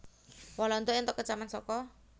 Walanda entuk kecaman saka